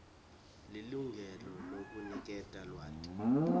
lilungelo lekuniketa lwati